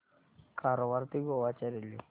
कारवार ते गोवा च्या रेल्वे